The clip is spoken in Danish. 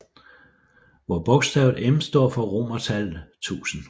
Hvor bogstavet M står for romertallet 1000